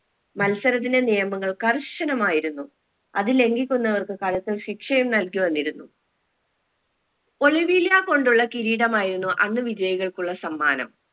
മത്സരത്തിന്റെ നിയമങ്ങൾ കർശനമായിരുന്നു അത് ലംഗിക്കുന്നവർക്ക് കടുത്ത ശിക്ഷയും നൽകി വന്നിരുന്നു ഒളിവിലാ കൊണ്ടുള്ള കിരീടമായിരുന്നു അന്ന് വിജയികൾക്കുള്ള സമ്മാനം